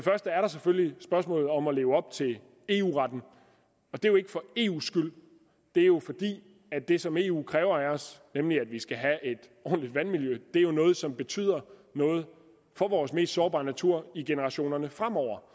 første er der selvfølgelig spørgsmålet om at leve op til eu retten og det er jo ikke for eus skyld det er jo fordi det som eu kræver af os nemlig at vi skal have et ordentligt vandmiljø er noget som betyder noget for vores mest sårbare natur i generationerne fremover